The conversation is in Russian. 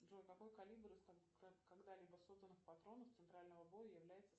джой какой калибр из когда либо созданных патронов центрального боя является